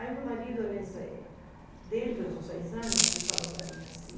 Aí meu marido, dentro desses seis anos, ele falou para mim assim...